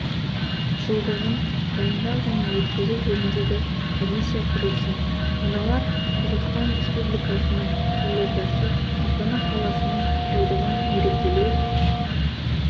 жылдығын дайындау және өткізу жөніндегі комиссия құрылсын мыналар қазақстан республикасының елордасы астана қаласының жылдығын мерекелеу